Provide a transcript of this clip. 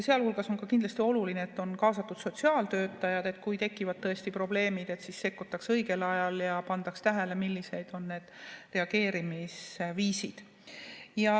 Sealhulgas on kindlasti oluline, et on kaasatud sotsiaaltöötajad, sest kui tekivad probleemid, siis sekkutakse õigel ajal ja pannakse tähele, millised on need reageerimisviisid.